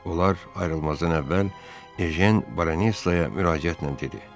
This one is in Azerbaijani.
Onlar ayrılmazdan əvvəl Ejen Baronesaya müraciətlə dedi: